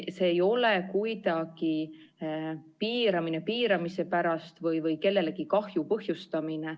See ei ole kuidagi piiramine piiramise pärast või kellelegi kahju põhjustamine.